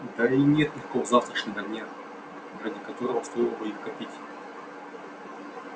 да и нет никакого завтрашнего дня ради которого стоило бы их копить